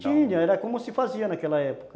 Tinha, era como se fazia naquela época.